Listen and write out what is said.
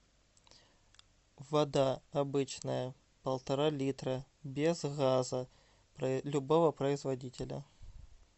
вода обычная полтора литра без газа любого производителя